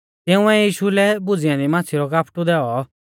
तिंउऐ यीशु लै भुज़ी ऐन्दी माच़्छ़ी रौ कापटु दैऔ